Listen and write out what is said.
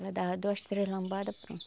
Ela dava duas, três lambada, pronto.